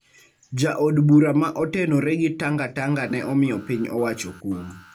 Jo od bura ma otenore gi Tangatanga ne omiyo piny owacho kum